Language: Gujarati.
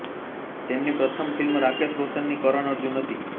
તેમની પ્રથમ ફિલ્મ રાકેશ રોશનની કરન અર્જુન હતી